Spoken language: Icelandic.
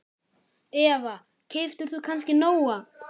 Eva: Keyptir þú kannski Nóa?